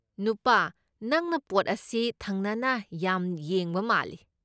ꯅꯨꯄꯥ, ꯅꯪꯅ ꯄꯣꯠ ꯑꯁꯤ ꯊꯪꯅꯅ ꯌꯥꯝ ꯌꯦꯡꯕ ꯃꯥꯜꯂꯤ꯫